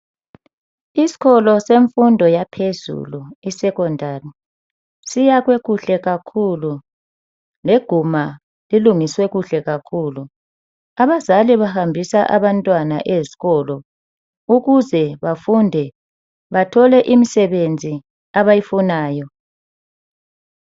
Iskolo senfundo yaphezulu I secondary, siyakhwe kuhle kakhulu. Leguma lilungiswe kuhle kakhulu, abazali bahambisa abantwana ezikolo ukuze bafunde bathole imisebenzi abayifunayo.